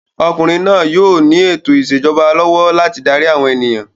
Ọmọkùnrin náà yóò ní ètò ìṣèjọba ọba lọ́wọ́ láti darí àwọn ènìyàn.